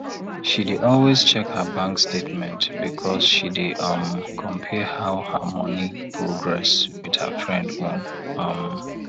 she dey always check her bank statementbecause she dey um compare how her money progress with her friend own um